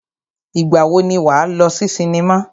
Ìgbà wo ni wà á lọ sí sinimá?